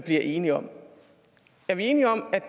enige om er vi enige om at